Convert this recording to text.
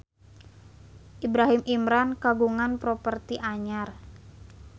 Ibrahim Imran kagungan properti anyar